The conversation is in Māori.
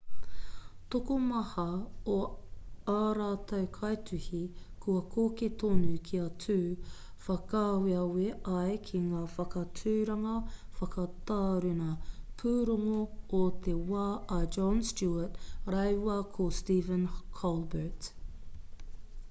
tokomaha o ā rātou kaituhi kua koke tonu kia tū whakaaweawe ai ki ngā whakaaturanga whakataruna pūrongo o te wā a jon stewart rāua ko stephen colbert